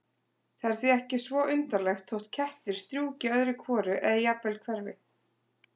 Það er því ekki svo undarlegt þótt kettir strjúki öðru hvoru eða jafnvel hverfi.